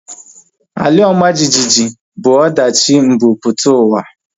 Ala ọma jijiji bụ ọdachi mbumputauwa